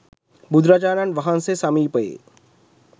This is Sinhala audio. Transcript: බුදුරජාණන් වහන්සේ සමීපයේ